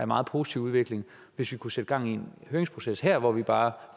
meget positiv udvikling hvis vi kunne sætte gang i en høringsproces her hvor vi bare